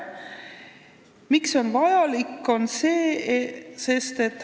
Miks see vajalik on?